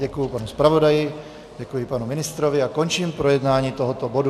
Děkuji panu zpravodaji, děkuji panu ministrovi a končím projednávání tohoto bodu.